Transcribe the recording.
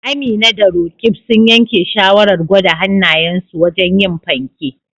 Amina da Roqeeb sun yanke shawarar gwada hannayensu wajen yin fanke